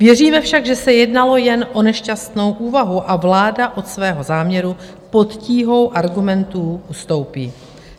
Věříme však, že se jednalo jen o nešťastnou úvahu a vláda od svého záměru pod tíhou argumentů ustoupí.